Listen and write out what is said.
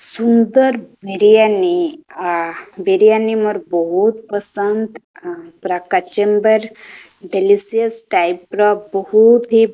ସୁନ୍ଦର ବିରୀୟନି ଆ ବିରୀୟନି ମୋର ବୋହୁତ୍ ପସନ୍ଦ। ଆ ପୁରା କଚେମ୍ୱର ଡେଲିସିୟସ ଟାଇପ ର ବୋହୁତ୍ ହି --